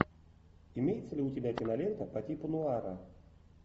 имеется ли у тебя кинолента по типу нуара